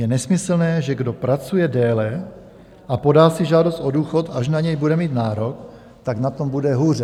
Je nesmyslné, že kdo pracuje déle a podá si žádost o důchod, až na něj bude mít nárok, tak na tom bude hůře.